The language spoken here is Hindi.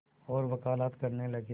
और वक़ालत करने लगे